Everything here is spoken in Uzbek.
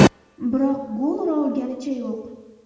Biroq gol ura olganicha yo‘q.